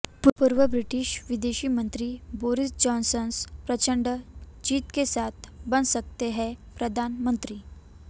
पूर्व ब्रिटिश विदेश मंत्री बोरिस जॉनसन प्रचंड जीत के साथ बन सकते हैं प्रधानमंत्री